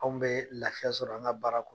Anw bɛ lafiya sɔrɔ an ka baara kɔnɔ